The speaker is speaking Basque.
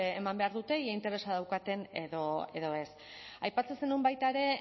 eman behar dute ea interesa daukaten edo ez aipatzen zenuen baita ere